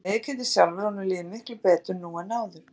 Hann viðurkennir sjálfur að honum líði miklu betur nú en áður.